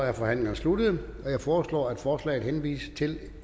er forhandlingen sluttet jeg foreslår at forslaget henvises til